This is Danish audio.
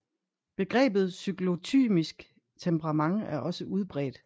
Begrebet cyklotymisk temperament er også udbredt